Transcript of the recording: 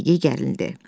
Yediyey gərilmədi.